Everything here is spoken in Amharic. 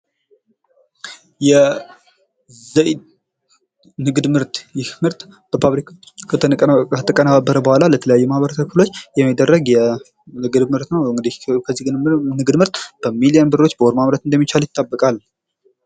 የዘይት ንግድ ምርት ይህ ምርት በፋብሪካዎች ከተቀነባበረ በኋላ የተለያዩ የማህበረሰብ ክፍሎች የሚደረግ የምግብ ምርት ነው እንግዲ ንግድ ምርት በሚሊዮን ብሮች በወር ማምረት የሚቻል ይጠበቃል።